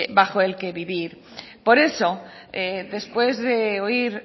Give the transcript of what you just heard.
bajo el que vivir por eso después de oír